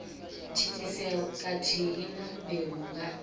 thithisea khathihi na mbeu nga